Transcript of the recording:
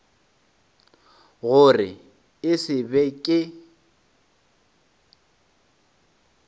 gore e se be ke